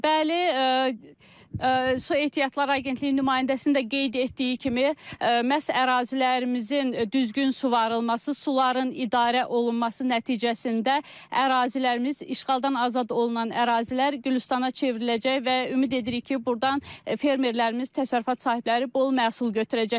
Bəli, Su Ehtiyatlar Agentliyinin nümayəndəsinin də qeyd etdiyi kimi, məhz ərazilərimizin düzgün suvarılması, suların idarə olunması nəticəsində ərazilərimiz işğaldan azad olunan ərazilər Gülüstanana çevriləcək və ümid edirik ki, burdan fermerlərimiz təsərrüfat sahibləri bol məhsul götürəcəklər